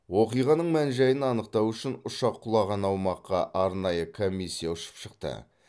оқиғаның мән жайын анықтау үшін ұшақ құлаған аумаққа арнайы комиссия ұшып шықты